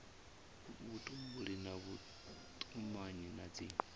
vhutumbuli na vhutumanyi na dzi